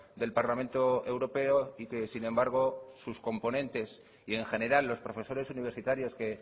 del parlamento europeo y que sin embargo sus componentes y en general los profesores universitarios que